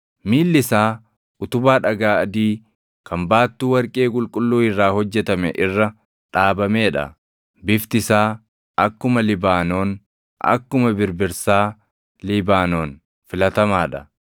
Miilli isaa utubaa dhagaa adii kan baattuu warqee qulqulluu irraa hojjetame irra dhaabamee dha. Bifti isaa akkuma Libaanoon, akkuma birbirsaa Libaanoon filatamaa dha.